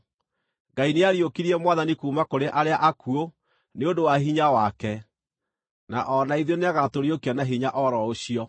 Ngai nĩariũkirie Mwathani kuuma kũrĩ arĩa akuũ nĩ ũndũ wa hinya wake, na o na ithuĩ nĩagatũriũkia na hinya o ro ũcio.